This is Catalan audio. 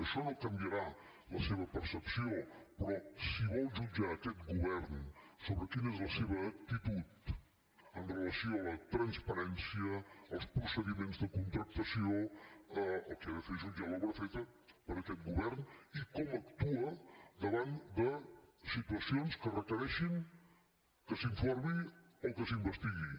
això no canviarà la seva percepció però si vol jutjar aquest govern sobre quina és la seva actitud amb relació a la transparència als procediments de contractació el que ha de fer és jutjar l’obra feta per aquest govern i com actua davant de situacions que requereixin que s’informi o que s’investigui